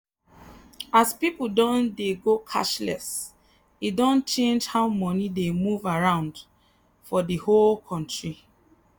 as people don dey go cashless e don change how money dey move around for the whole country.